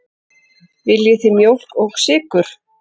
Viljið þið mjólk og sykur?